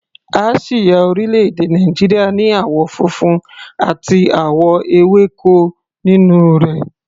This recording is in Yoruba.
Àsíá orílẹ̀-èdè Nàìjíríà ní àwọ̀ funfun àti àwọ̀ ewéko nínú rẹ̀.